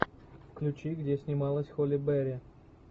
включи где снималась холли берри